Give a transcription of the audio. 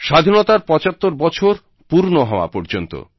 স্বাধীনতার 75 বছর পূর্ণ হওয়া পর্যন্ত